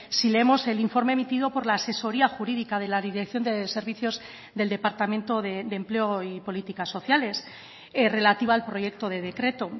si leemos el informe emitido por la asesoría jurídica de la dirección de servicios del departamento de empleo y políticas sociales relativa al proyecto de decreto